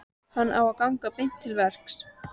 Hann á að ganga beint til verks.